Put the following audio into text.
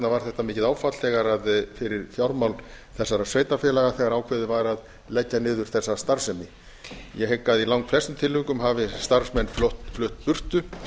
var þetta mikið áfall fyrir fjármál þessara sveitarfélaga þegar ákveðið var að leggja niður þessa starfsemi ég hygg að í langflestum tilvikum hafi starfsmenn flutt burtu